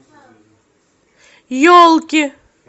елки